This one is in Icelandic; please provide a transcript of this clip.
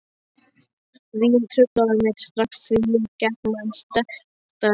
Vín truflaði mig strax því ég gekk með sektarkennd.